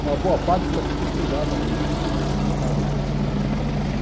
Uma boa parte foi estudada aí. Está certo uma parte foi estudada aí está certo